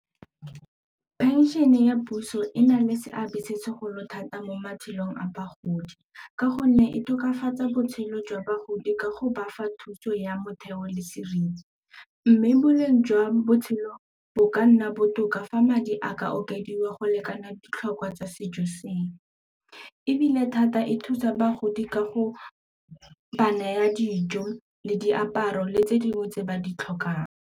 Pension-e ya puso e na le seabe se segolo thata mo matshelong a bagodi ka gonne e tokafatsa botshelo jwa bagodi ka go bafa thuso ya motheo le seriti mme boleng jwa botshelo bo ka nna botoka fa madi a ka okediwa go lekana ditlhokwa tsa sejo ebile thata e thusa bagodi ka go ba naya dijo le diaparo le tse dingwe tse ba di tlhokang.